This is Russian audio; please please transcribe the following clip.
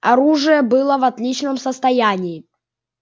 оружие было в отличном состоянии